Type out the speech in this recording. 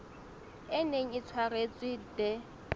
e neng e tshwaretswe the